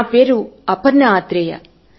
నా పేరు అపర్ణ ఆత్రేయ